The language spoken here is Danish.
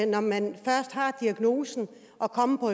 når man først har diagnosen at komme på